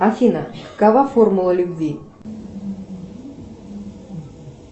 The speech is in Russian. афина какова формула любви